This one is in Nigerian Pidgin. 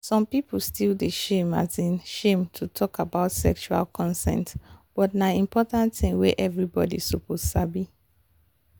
some people still dey feel um shame to talk about sexual consent but na important thing wey everybody suppose sabi